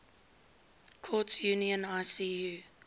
courts union icu